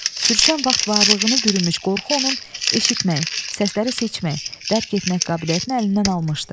Sürüşən vaxt varlığını bürünmüş qorxu onun eşitmək, səsləri seçmək, dərk etmək qabiliyyətini əlindən almışdı.